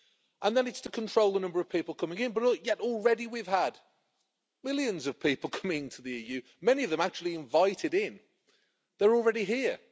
The system is intended to control the number of people coming in, yet already we've had millions of people coming to the EU, many of them actually invited in. They're already here.